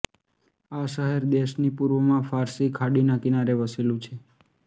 આ શહેર દેશની પૂર્વમાં ફારસી ખાડીના કિનારે વસેલું છે